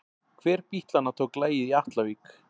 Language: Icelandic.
Hver bítlanna tók lagið í Atlavík?